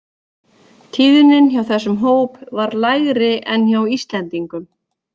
Tíðnin hjá þessum hóp var lægri en hjá Íslendingum.